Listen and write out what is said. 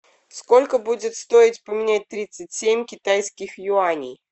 сколько будет стоить поменять тридцать семь китайских юаней